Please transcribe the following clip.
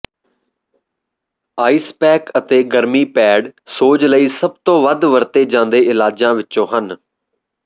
ice pack ਅਤੇ ਗਰਮੀ pad ਸੋਜ ਲਈ ਸਭ ਤੋਂ ਵੱਧ ਵਰਤੇ ਜਾਂਦੇ ਇਲਾਜਾਂ ਵਿੱਚੋਂ ਹਨ